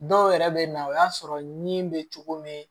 Dɔw yɛrɛ bɛ na o y'a sɔrɔ ni bɛ cogo min